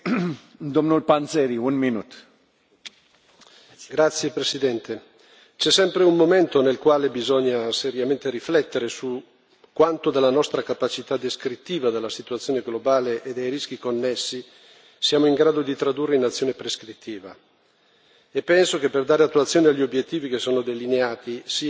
Signor Presidente, onorevoli colleghi, c'è sempre un momento nel quale bisogna seriamente riflettere su quanto della nostra capacità descrittiva della situazione globale e dei rischi connessi siamo in grado di tradurre in azioni prescrittive. Penso che per dare attuazione agli obiettivi che sono delineati sia necessario migliorare l'approccio dell'Unione europea in alcuni ambiti